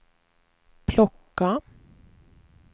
plocka